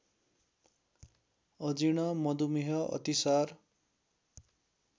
अजीर्ण मधुमेह अतिसार